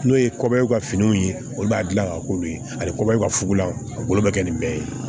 N'o ye kɔyɔ ka finiw ye olu b'a dilan k'a k'olu ye a bɛ kɔbɔyan fugulan a bolo bɛ kɛ nin bɛ ye